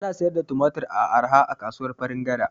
Ana sayar da Tumatir da arha a kasuwar Farin gada